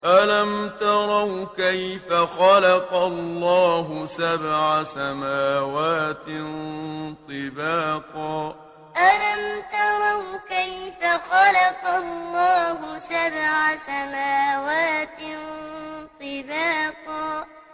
أَلَمْ تَرَوْا كَيْفَ خَلَقَ اللَّهُ سَبْعَ سَمَاوَاتٍ طِبَاقًا أَلَمْ تَرَوْا كَيْفَ خَلَقَ اللَّهُ سَبْعَ سَمَاوَاتٍ طِبَاقًا